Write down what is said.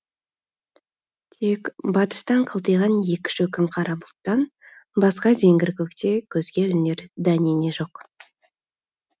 тек батыстан қылтиған екі шөкім қара бұлттан басқа зеңгір көкте көзге ілінер дәнеңе жоқ